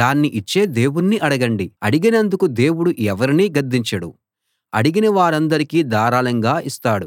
దాన్ని ఇచ్చే దేవుణ్ణి అడగండి అడిగినందుకు దేవుడు ఎవరినీ గద్దించడు అడిగిన వారందరికీ ధారాళంగా ఇస్తాడు